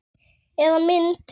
Eða mynd.